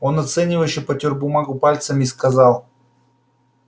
он оценивающе потёр бумагу пальцами и сказал